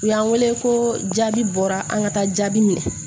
U y'an wele ko jaabi bɔra an ka taa jaabi minɛ